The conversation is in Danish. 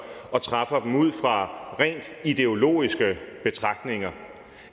og træffer dem ud fra rent ideologiske betragtninger